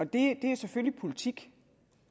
det er selvfølgelig politik